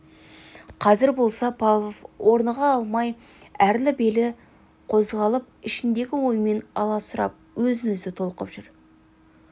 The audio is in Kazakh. қазір болса павлов орныға алмай әрлі-берлі қозғалып ішіндегі ойымен аласұрып өз-өзінен толқып жүр